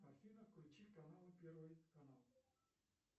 афина включи канал первый канал